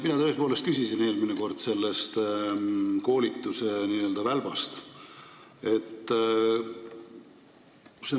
Mina tõepoolest küsisin eelmine kord selle koolituse n-ö välba kohta.